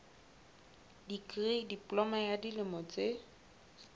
dikri diploma ya dilemo tse